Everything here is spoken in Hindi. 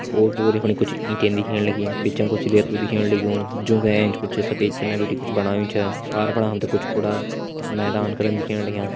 ओर पोर यफूण कुछ ईंटे दिखेण लगीं बिचा कुछ रेतु दिखेण लग्युं जों का एंच कुछ सफ़ेद चुना बिटि का कुछ बणायु च पार फुणा हम त कुछ कूड़ा मैदान करन दिखेण लग्यां।